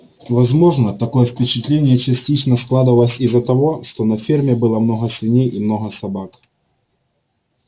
возможно такое впечатление частично складывалось из-за того что на ферме было много свиней и много собак